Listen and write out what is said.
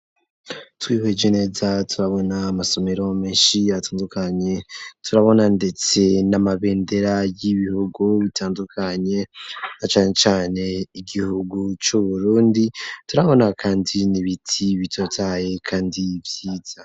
Twihweje neza turabona amasomero menshi yatandukanye turabona ndetse n'amabendera y'ibihugu bitandukanye na cane cane igihugu c'uburundi, turabona kandi nibiti bitotahaye kandi vyiza.